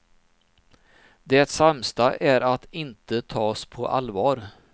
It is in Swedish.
Det sämsta är att inte tas på allvar.